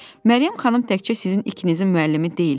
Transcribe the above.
Məryəm xanım təkcə sizin ikinizin müəllimi deyil.